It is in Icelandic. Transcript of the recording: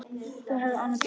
Það hefur hann gert.